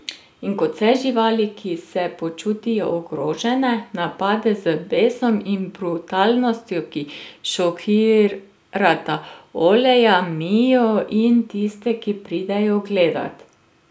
In kot vse živali, ki se počutijo ogrožene, napade, z besom in brutalnostjo, ki šokirata Oleja, Mio in tiste, ki pridejo gledat.